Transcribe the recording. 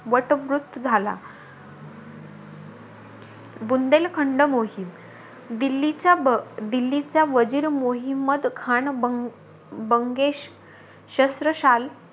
वटवृत्त झाला. बुंदेलखंड मोहीम, दिल्लीच्या-दिल्लीच्या वजीर मोहीमद्द खान बंग बंगेश शस्त्रशाल,